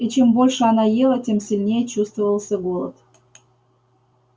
и чем больше она ела тем сильнее чувствовался голод